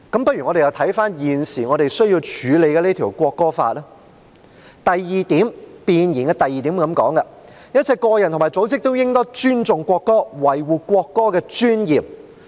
不如我們又看看現在需要審議的《國歌條例草案》，弁言的第2點訂明"一切個人和組織都應當尊重國歌，維護國歌的尊嚴"。